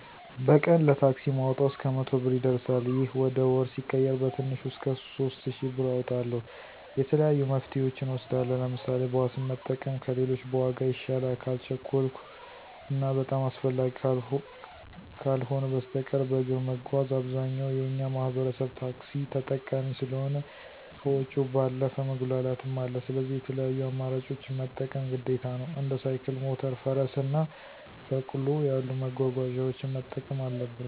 በቀን ለታክሲ ማወጣው እስከ መቶ ብር ይደርሳል። ይህ ወደ ወር ሲቀየር በትንሹ እስከ ሶስት እሽ ብር አወጣለሁ። የተለያዩ መፍትሄወችን እወስዳለሁ። ለምሳሌ፦ ባስን መጠቀም ከሌሎች በዋጋ ይሻላል። ካልቸኮልሁ እና በጣም አስፈላጊ ካልሆ በስተቀር በእግር መጓዝ። አብዛኛው የእኛ ማህበረሰብ ታክሲ ተጠቃሚ ስለሆ ከወጭው ባለፈ መጉላላትም አለ። ስለዚህ የተለያዩ አማራጮችን መጠቀም ግዴታ ነው። እንደ ሳይክል፣ ሞተር፣ ፈረስ እና በቅሎ ያሉ መጓጓዣወችን መጠቀም አለበት።